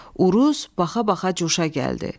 Uruz baxa-baxa coşa gəldi.